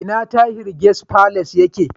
A ina Tahir Guest Palace yake?